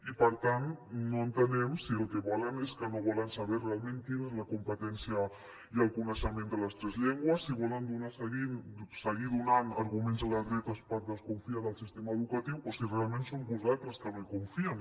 i per tant no entenem si el que volen és que no volen saber realment quina és la competència i el coneixement de les tres llengües si volen seguir donant arguments a la dreta per desconfiar del sistema educatiu o si realment són vostès que no hi confien